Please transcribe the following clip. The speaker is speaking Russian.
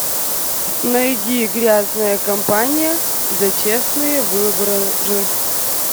найди грязная кампания за честные выборы